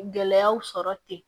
Gɛlɛyaw sɔrɔ ten